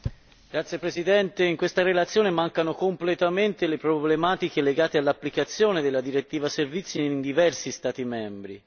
Signora Presidente, in questa relazione mancano completamente le problematiche legate all'applicazione della direttiva sui servizi in diversi Stati membri.